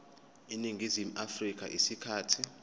eningizimu afrika isikhathi